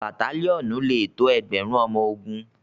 batalionu lẹ tó ẹgbẹrun ọmọ ògún.